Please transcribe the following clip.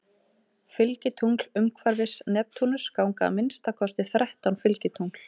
Fylgitungl Umhverfis Neptúnus ganga að minnsta kosti þrettán fylgitungl.